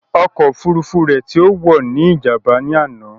Ọkọ̀ òfurufú tí ó wò ní Ìjàm̀bá ní àná